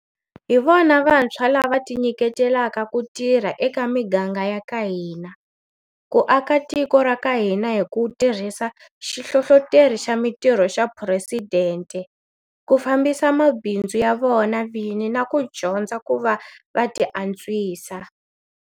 Hi vona vantshwa lava tinyiketelaka ku tirha eka miganga ya ka hina, ku aka tiko ra ka hina hi ku tirhisa Xihlohloteri xa Mitirho xa Phuresidente, ku fambisa mabindzu ya vona vini na ku dyondza ku va va tiantswisa.